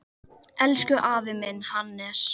Elsku afi minn, Hannes.